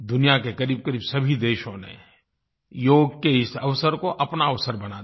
दुनिया के क़रीबक़रीब सभी देशों ने योग के इस अवसर को अपना अवसर बना दिया